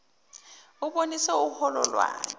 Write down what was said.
ubonise uholo wakho